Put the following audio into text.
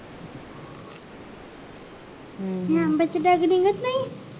हम्म हि आंब्या ची बाग निघत नाही